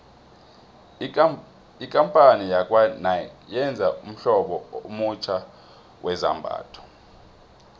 ikampani yakwanike yenze ummhlobo omutjha wezambhatho